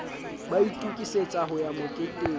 ba itokisetsa ho ya moketeng